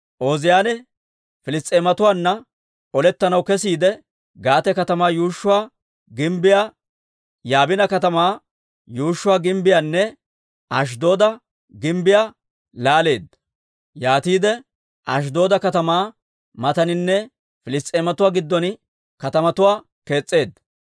Ooziyaane Piliss's'eematuwaanna olettanaw kesiide, Gaate katamaa yuushshuwaa gimbbiyaa, Yaabine katamaa yuushshuwaa gimbbiyaanne Ashddooda gimbbiyaa laaleedda; yaatiide Ashddooda katamaa mataaninne Piliss's'eematuwaa giddon katamatuwaa kees's'eedda.